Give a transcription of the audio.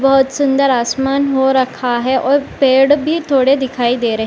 बहोत सुंदर आसमान हो रखा है और पेड़ भी थोड़े दिखाई दे रहे --